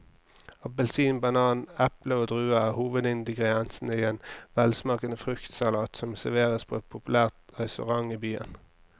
Appelsin, banan, eple og druer er hovedingredienser i en velsmakende fruktsalat som serveres på en populær restaurant i byen.